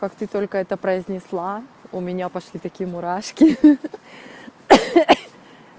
как ты только это произнесла у меня пошли такие мурашки ха-ха